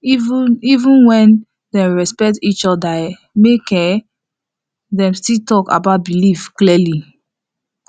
even even when dem respect each other um make um dem still talk about belief clearly